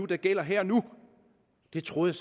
der gælder her og nu det troede